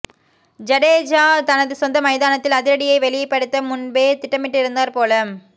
ஜடேஜா தனது சொந்த மைதானத்தில் ஆதிரடியை வெளிப்படுத்த முன்பே திட்டமிட்டிருந்தார் போல